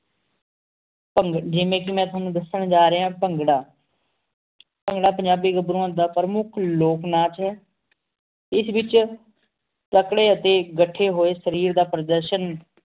ਜਿਵ੍ਯਨ ਕੀ ਮੈਂ ਤੁਵਾਨੁ ਦਸਣ ਜਰ੍ਹਾ ਪੰਘਰਾ ਪੰਘਰਾ ਪੰਜਾਬੀ ਘਬ੍ਰੁਆਂ ਦਾ ਪੇਰ੍ਮੁਖ ਲੋਗ ਨਾਚ ਆਯ ਇਸ ਵੇਚ ਅਪਨ੍ਯਨ ਏਥੀ ਅਖ੍ਟੀ ਹੂਯ ਸ਼ਰੀਰ ਦਾ ਪੁਨ੍ਜਾਸ੍ਹਨ